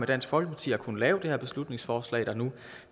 dansk folkeparti har kunnet lave det her beslutningsforslag der nu